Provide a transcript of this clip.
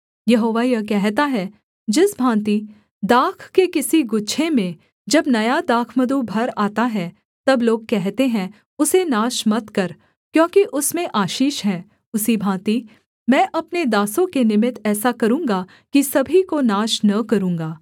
यहोवा यह कहता है जिस भाँति दाख के किसी गुच्छे में जब नया दाखमधु भर आता है तब लोग कहते हैं उसे नाश मत कर क्योंकि उसमें आशीष है उसी भाँति मैं अपने दासों के निमित्त ऐसा करूँगा कि सभी को नाश न करूँगा